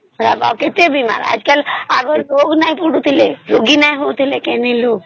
ଏବେ କେତେ ବୀମାର ଆଗରେ ଜର ରେ ନାଇଁ ପଡୁଥିଲେ ରୋଗ ରେ ନାଇଁ ପଡୁଥିଲେ